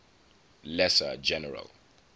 lesser general